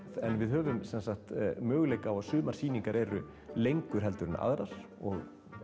en við höfum sem sagt möguleikann á að sumar sýningar eru lengur heldur en aðrar og